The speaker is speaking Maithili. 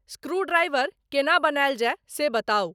स्क्रूड्राइवर केना बनायल जाय से बताउ